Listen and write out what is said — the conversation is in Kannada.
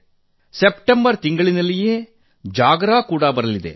ಸೆಪ್ಟೆಂಬರ್ ತಿಂಗಳಿನಲ್ಲಿಯೇ ಜಾಗರಾ ಜಾತ್ರೆ ಕೂಡಾ ಬರಲಿದೆ